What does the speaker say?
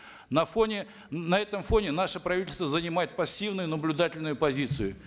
на фоне на этом фоне наше правительство занимает пассивную наблюдательную позицию